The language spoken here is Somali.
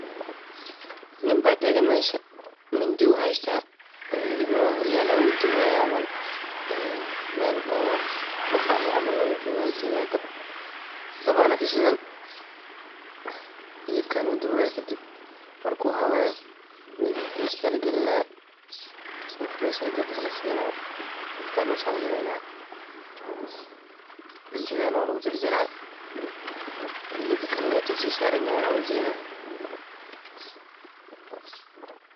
Nin baa tagan meesha, mindi uu haystaa, hilibna waa horyaalaa. Wuu dubaya camal. Meel oo maqaaxi camal wuu jogaa, wa ujeeda, dab, dabaana kashidan, hilibkana wuu dubayaa kadib mark uu habeeyo maybe firijka ligilinaa, isag oo fresh ah daka lasiinaa, dadka loo savgreyna, cuntadaana waa lugujarjara. Hilibkalna intuu siisaranyahay waa ujeeda.